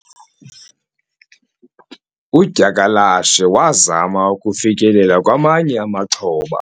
udyakalashe wazama ukufikelela kwamanye amaxhoba